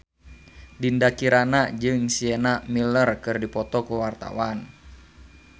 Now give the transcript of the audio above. Dinda Kirana jeung Sienna Miller keur dipoto ku wartawan